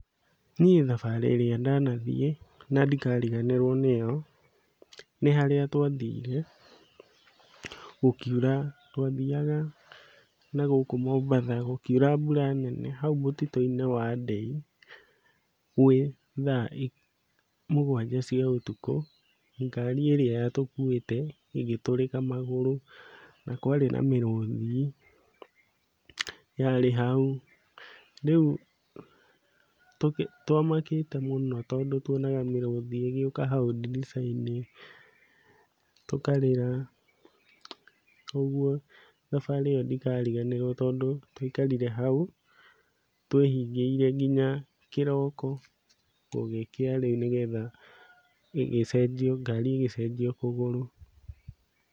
Niĩ thabarĩ ĩrĩa ndanathiĩ na ndikariganĩrwo nĩyo, nĩ harĩa twathire gũkiura twathiaga na gũkũ Mombatha, gũkiura mbura nene hau mũtitũ-inĩ wa Ndei gwĩ thaa mũgwanja cia ũtukũ, ngari ĩrĩa yatũkuĩte ĩgĩtũrĩka magũrũ na kwarĩ na mĩrũthi yarĩ hau, rĩu twamakĩte mũno, tondũ tuonaga mĩrũthi ĩgĩũka hau ndirica-inĩ tũkarĩra, ũguo thabarĩ ĩyo ndikariganĩrwo, tondũ twaikarire hau twĩhingĩire nginya kĩroko gũgĩkĩa rĩu, nĩgetha gĩcenjio ngari ĩgĩcenjio kũgũrũ.